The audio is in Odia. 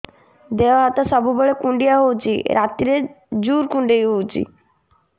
ଦେହ ହାତ ସବୁବେଳେ କୁଣ୍ଡିଆ ହଉଚି ରାତିରେ ଜୁର୍ କୁଣ୍ଡଉଚି